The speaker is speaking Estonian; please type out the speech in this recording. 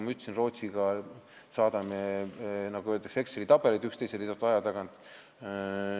Ma ütlesin, et Rootsiga saadame teineteisele, nagu öeldakse, Exceli tabeleid teatud aja tagant.